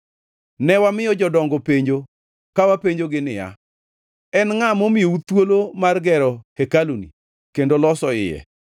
Ne wamiyo jodongo penjo ka wapenjogi niya, “En ngʼa momiyou thuolo mar gero hekaluni kendo loso iye?”